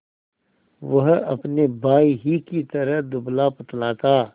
वह अपने भाई ही की तरह दुबलापतला था